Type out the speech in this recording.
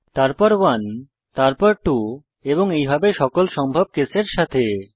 তারপর 1 তারপর 2 এবং এইভাবে সকল সম্ভব কেসের সাথে